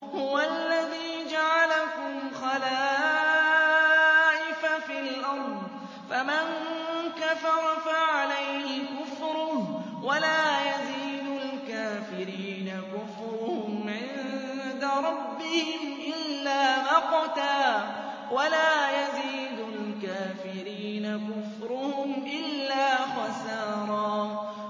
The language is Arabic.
هُوَ الَّذِي جَعَلَكُمْ خَلَائِفَ فِي الْأَرْضِ ۚ فَمَن كَفَرَ فَعَلَيْهِ كُفْرُهُ ۖ وَلَا يَزِيدُ الْكَافِرِينَ كُفْرُهُمْ عِندَ رَبِّهِمْ إِلَّا مَقْتًا ۖ وَلَا يَزِيدُ الْكَافِرِينَ كُفْرُهُمْ إِلَّا خَسَارًا